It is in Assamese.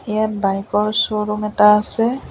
ইয়াত বাইক ৰ শ্ব'ৰুম এটা আছে।